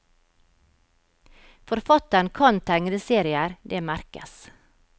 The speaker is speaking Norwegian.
Forfatteren kan tegneserier, det merkes.